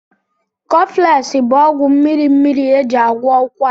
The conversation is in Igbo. Cọflesị bụ ọgwụ mmiri mmiri eji agwọ ụkwara